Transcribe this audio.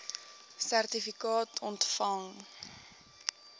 sertifikaat ontvang